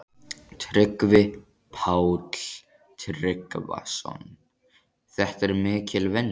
Tryggvi Páll Tryggvason: Þetta er mikil vinna?